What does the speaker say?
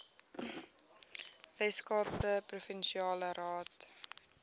weskaapse provinsiale raad